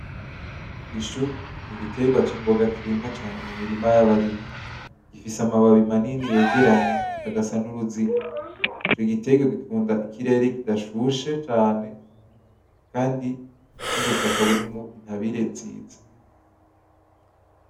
Ishu ni igiterwa c'imboga kirimwa cane mu mirima y'abarimyi. Gifise amababi manini yegeranye agasa n'uruziga. Ni igiterwa gikunda ikirere kidashushe cane kandi n'ubutaka burimwo intabire nziza.